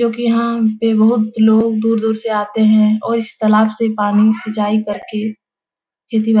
जोकि यहाँ पे बहुत लोग दूर-दूर से आते हैं और इस तालाब से पानी सिंचाई करके खेती बा --